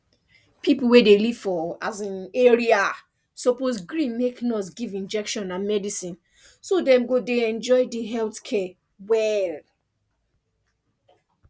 people wey dey live for um area suppose gree make nurse give injection and medicine so dem go dey enjoy di health care well